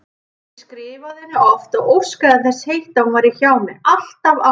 Ég skrifaði henni oft og óskaði þess heitast að hún væri hjá mér, alltaf, alltaf.